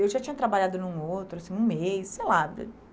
Eu já tinha trabalhado num outro, um mês, sei lá.